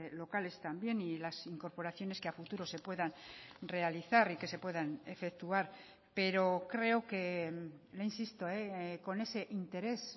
locales también y las incorporaciones que a futuro se puedan realizar y que se puedan efectuar pero creo que le insisto con ese interés